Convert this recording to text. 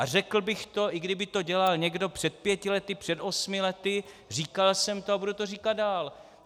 A řekl bych to, i kdyby to dělal někdo před pěti lety, před osmi lety, říkal jsem to a budu to říkat dál.